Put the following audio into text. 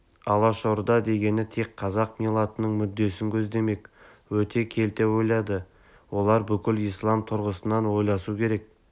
алашорда дегені тек қазақ миллатының мүддесін көздемек өте келте ойлайды олар бүкіл ислам тұрғысынан ойласу керек